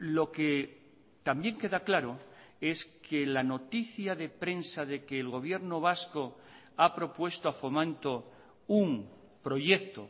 lo que también queda claro es que la noticia de prensa de que el gobierno vasco ha propuesto a fomento un proyecto